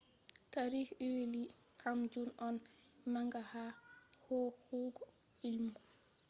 tarihi huilli ebay`s kam jun on manga ha hokkugo ilmu